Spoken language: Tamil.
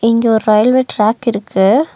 இங்க ஒரு ரயில்வே ட்ராக் இருக்கு.